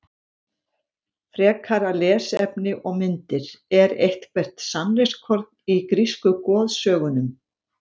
Frekara lesefni og myndir Er eitthvert sannleikskorn í grísku goðsögunum?